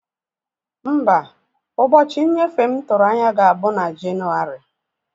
Mba, ụbọchị nnyefe m tụrụ anya ga-abụ na Jenụwarị.